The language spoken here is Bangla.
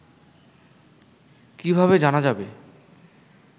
কিভাবে জানা যাবে